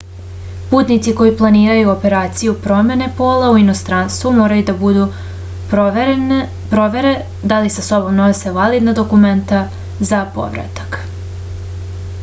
putnici koji planiraju operaciju promene pola u inostranstvu moraju da budu provere da li sa sobom nose validna dokumenta za povratak